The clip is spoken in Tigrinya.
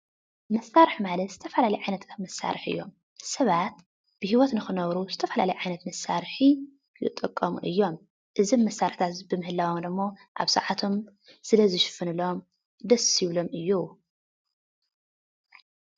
መሳርሒ ማለት ዝተፈላለዩ ዓይነታት መሳርሒ እዮም ሰባት ብሂወት ንክነብሩ ዝተፈላለዩ ዓይነት መሳርሒ ይጥቀሙ እዮም እዞም መሳርሕታት እዚኦም ብምህላዎም ድማ ኣብ ሰዓቶም ስለ ዝሽፍነሎም ደስ ይብሎም እዩ።